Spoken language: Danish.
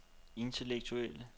intellektuelle